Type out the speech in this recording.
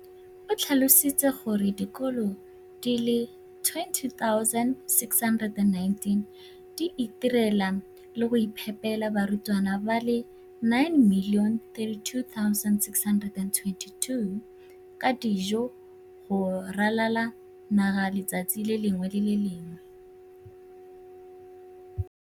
o tlhalositse gore dikolo di le 20 619 di itirela le go iphepela barutwana ba le 9 032 622 ka dijo go ralala naga letsatsi le lengwe le le lengwe.